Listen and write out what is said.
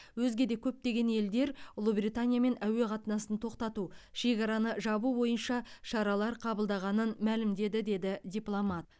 өзге де көптеген елдер ұлыбританиямен әуе қатынасын тоқтату шекараны жабу бойынша шаралар қабылдағанын мәлімдеді деді дипломат